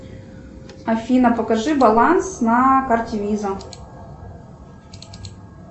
афина покажи баланс на карте виза